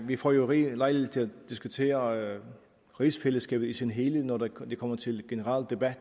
vi får jo rig lejlighed til at diskutere rigsfællesskabet i sin helhed når det kommer til generel debat